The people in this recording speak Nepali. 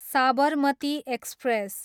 साबरमती एक्सप्रेस